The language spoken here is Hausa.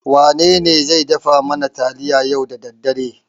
Wanene zai dafa mana taliya yau da daddare?